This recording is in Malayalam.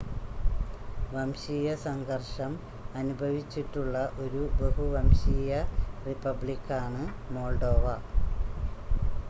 വംശീയ സംഘർഷം അനുഭവിച്ചിട്ടുള്ള ഒരു ബഹു-വംശീയ റിപ്പബ്ലിക്കാണ് മോൾഡോവ